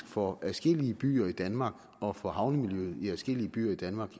for adskillige byer i danmark og for havnemiljøet i adskillige byer i danmark